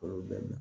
Olu bɛɛ